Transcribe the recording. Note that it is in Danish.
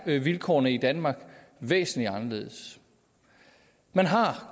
vilkårene i danmark væsentlig anderledes man har